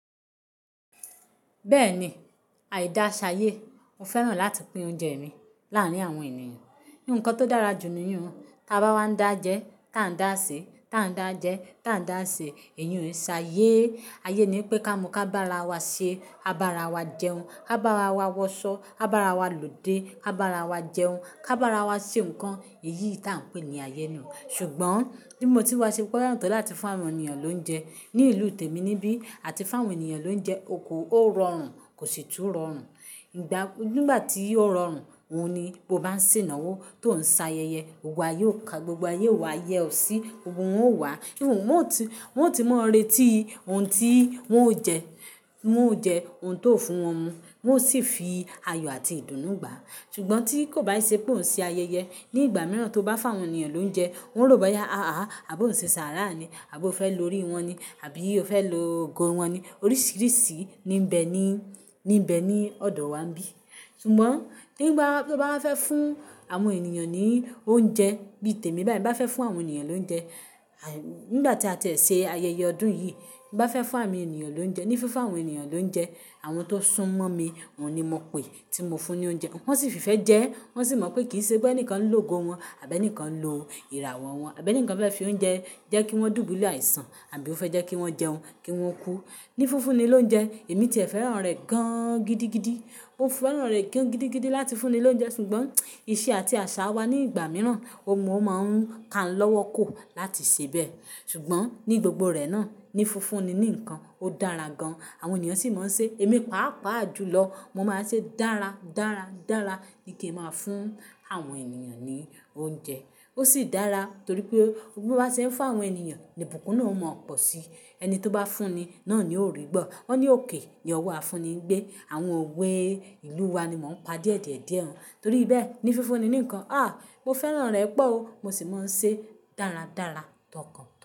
Bẹ́ẹ̀ni, àìda ṣayé. Mo fẹ́ràn láti pín oúnjẹ mi láàárín àwọn ènìyàn. Ni nǹkan tó dára jù nuyun. Tí a bá wá ń dá jẹ, tí a ń dá ṣe, tí a ń dá jẹ, tí a ń dá ṣe, èyun é ṣe ayé. Ayé ni pé ká mú ká bá ara wa ṣe, a bá ara wa jẹun, a bá ara wa wọṣọ, a bá ara wa lòdé a bá ara wa jẹun, ka bá ara wa ṣe nǹkan. Èyí ta n pè ní ayé ná. Ṣùgbọ́n bí mo ti wá ṣe pé ó yàn tó láti fún àwọn ènìyàn lóúnjẹ. Ni ìlú tèmi níbí àti fáwọn ènìyàn lóúnjẹ, okòó rọrùn kò sì tú rọrùn. Ìgbà nígbà tí yóò rọrùn, òun ni kó máa ń sìnawo. Tó ń ṣe ayẹyẹ, gbogbo ayé wa yẹ ọ́ sí, gbogbo wòn ó wá. Wọn o ti, wọn o ti mọ ireti ohun tí wọn o jẹ, wọn o jẹ ohun tó fún wọn mu, wọ́n sì fi ayọ̀ àti ìdùnnú gbà. Ṣùgbọ́n tí kò bá ṣe pé ò ń ṣe ayẹyẹ, ní ìgbà mìíràn tó bá fáwọn ènìyàn lóúnjẹ, wọ́n ó rò bóyá àà àbo ń ṣe ṣàrà ni, àbo fẹ́ lo orí wọn ni, àbí o fẹ́ lo ogo wọn ni. Oríṣìíríṣìí ni ń bẹ ni, ní bẹ ni ọ̀dọ̀ wa bí. Ṣùgbọ́n nígbà tí ó bá fẹ́ fún àwọn ènìyàn ní oúnjẹ bí tèmi báì bá fẹ́ fún àwọn ènìyàn lóúnjẹ, nígbà tí a ti ṣe ayẹyẹ ọdún yìí, bá fẹ́ fún àwọn ènìyàn lóúnjẹ, ní fífún àwọn ènìyàn lóúnjẹ, àwọn tó sún mọ́ mi, wọ́n ni mo pè tí mo fún ní oúnjẹ. Wọ́n sì fi fẹ́ jẹ ẹ́, wọ́n sì mọ̀ pé kì í ṣe pé ẹnìkan ń lògo wọn àbí ẹnìkan ń lo ìràwọ̀ wọn, àbí ẹnìkan fẹ́ fi oúnjẹ jẹ́ kí wọ́n dùú búlù àìsàn àbí ó fẹ́ jẹ́ kí wọ́n jẹun kí wọ́n kú. Ní fífún ni lóúnjẹ, èmi ti ẹ̀ fẹ́ràn rẹ̀ gan gidigidi. Mo fẹ́ràn rẹ̀ gan gidigidi láti fún ni lóúnjẹ. Ṣùgbọ́n ìṣe àti àṣà wa ní ìgbà mìíràn, òun mó máa ń ka n lọ́wọ́ ko láti ṣe bẹ́ẹ̀. Ṣùgbọ́n ní gbogbo rẹ̀ náà, ní fífúnni ní nǹkan ó dára gan. Àwọn ènìyàn sì máa ń ṣe èmi pàápàá julọ. Mo máa ń ṣe dára, dára, dára. Níkẹ́ máa fún àwọn ènìyàn ní oúnjẹ. Ó sì dára torí pé bó bá ṣe ń fún àwọn ènìyàn, ìbùkún náà mọ̀ ọ̀pọ̀ sí. Ẹni tó bá fúnni náà ni ò rí gbọ́. Wọ́n ni òkè ni ọwọ́ afúnni gbé. Àwọn òwe ìlú wa ni wọ́n pa díẹ̀díẹ̀díẹ̀ ẹ́. Torí bẹ́ẹ̀, ní fífúnni ní nǹkan, à! Mo fẹ́ràn rẹ̀ pọ̀ ó, mo sì máa ń ṣe dáradára, tọkàntọkàn.